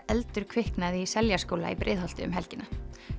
eldur kviknaði í Seljaskóla í Breiðholti um helgina